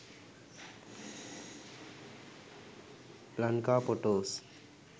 lanka photos